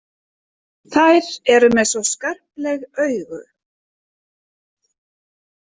Þær eru með svo skarpleg augu.